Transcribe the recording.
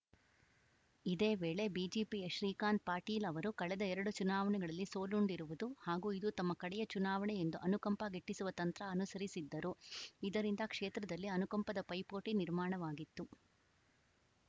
ಇದೇ ವೇಳೆ ಬಿಜೆಪಿಯ ಶ್ರೀಕಾಂತ್‌ ಪಾಟೀಲ್‌ ಅವರು ಕಳೆದ ಎರಡು ಚುನಾವಣೆಗಳಲ್ಲಿ ಸೋಲುಂಡಿರುವುದು ಹಾಗೂ ಇದು ತಮ್ಮ ಕಡೆಯ ಚುನಾವಣೆ ಎಂದು ಅನುಕಂಪ ಗಿಟ್ಟಿಸುವ ತಂತ್ರ ಅನುಸರಿಸಿದ್ದರು ಇದರಿಂದ ಕ್ಷೇತ್ರದಲ್ಲಿ ಅನುಕಂಪದ ಪೈಪೋಟಿ ನಿರ್ಮಾಣವಾಗಿತ್ತು